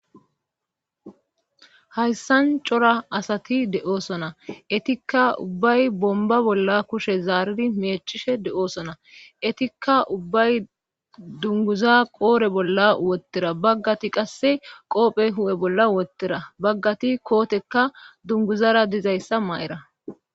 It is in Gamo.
hayssan cora asati de7osona etikka ubbay bomba bolla kushe zaaridi meechishe de7osona etikka ubbay dunguza qoore bolla wottera baggati qasse qoophe hu7e bolla wottera baggati kootekka dunguzara dizayssa ma7era